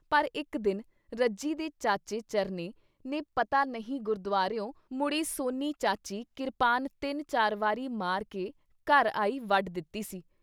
ਪਰ ਇਕ ਦਿਨ ਰੱਜੀ ਦੇ ਚਾਚੇ ਚਰਨੇ ਨੇ ਪਤਾ ਨਹੀਂ ਗੁਰਦੁਵਾਰਿਓਂ ਮੁੜੀ ਸੋਨੀ ਚਾਚੀ ਕਿਰਪਾਨ ਤਿੰਨ ਚਾਰ ਵਾਰੀ ਮਾਰਕੇ ਘਰ ਆਈ ਵੱਢ ਦਿੱਤੀ ਸੀ।